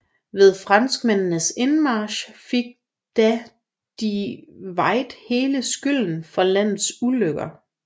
Ved franskmændenes indmarch fik da de Witt hele skylden for landets ulykker